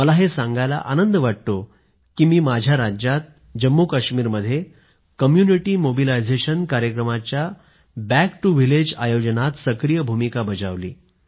मला हे सांगायला आनंद वाटतो की मी माझ्या राज्यात जम्मूकाश्मीरमध्ये कम्युनिटी मोबलायझेशन कार्यक्रमाच्याबँक टु व्हिलेज आयोजनात सक्रीय भूमिका बजावली